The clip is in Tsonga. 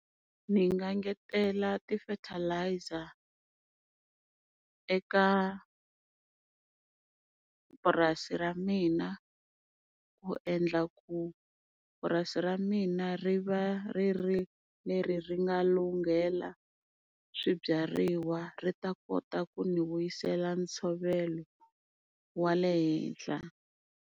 Ni nga ngetela ti-fertilizer eka purasi ra mina, ku endla ku purasi ra mina ri va ri ri leri ri nga lunghela swibyariwa, ri ta kota ku ni vuyisela ntshovelo wa le henhla.